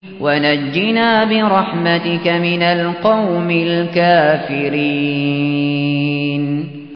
وَنَجِّنَا بِرَحْمَتِكَ مِنَ الْقَوْمِ الْكَافِرِينَ